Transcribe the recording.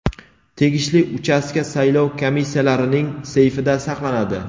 tegishli uchastka saylov komissiyalarining seyfida saqlanadi.